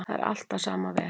Það er allt á sama veg.